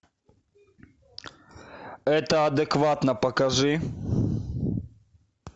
это адекватно покажи